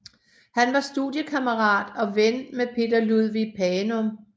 Han var studiekammerat og ven med Peter Ludvig Panum